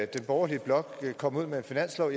den borgerlige blok komme ud med en finanslov